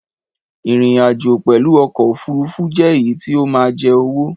Ìrìn àjò pẹlu ọkọ òfurufú jẹ èyí tí o ma jẹ owó